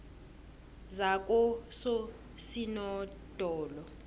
zakososinodolo